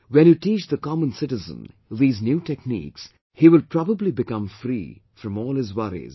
When you teach the common citizen these new techniques, he will probably become free from all his worries